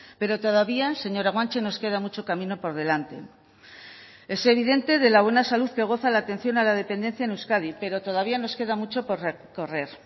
pero todavía señora guanche nos queda mucho camino por delante es evidente de la buena salud que goza la atención a la dependencia en euskadi pero todavía nos queda mucho por recorrer